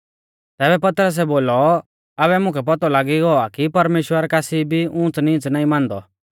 तैबै पतरसै बोलौ आबै मुकै पौतौ लागी गौ आ कि परमेश्‍वर कासी भी ऊंच़नीच़ नाईं मानदौ